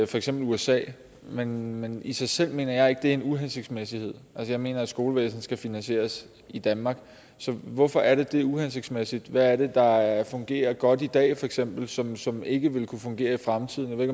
for eksempel usa men men i sig selv mener jeg ikke det er en uhensigtsmæssighed altså jeg mener at skolevæsenet skal finansieres i danmark så hvorfor er det uhensigtsmæssigt hvad er det der fungerer godt i dag feks som som ikke vil kunne fungere i fremtiden jeg